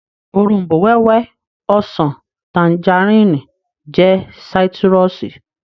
Òrombó-wẹ́wẹ́, ọsàn, tanjarínnì jẹ́ sáítírùsì